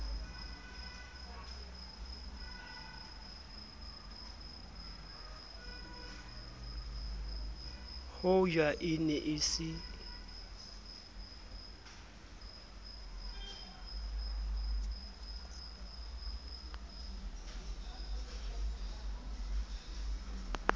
hoja e ne e se